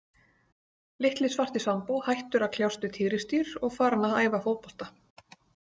Litli svarti Sambó hættur að kljást við tígrisdýr og farinn að æfa fótbolta.